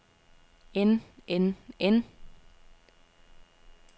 end end end